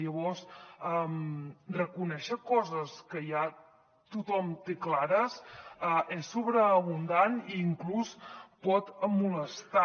llavors reconèixer coses que ja tothom té clares és sobreabundant i inclús pot molestar